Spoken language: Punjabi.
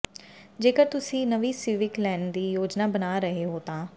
ਜੇਕਰ ਤੁਸੀ ਨਵੀਂ ਸਿਵਿਕ ਲੈਣ ਦੀ ਯੋਜਨਾ ਬਣਾ ਰਹੇ ਹੋ ਤਾਂ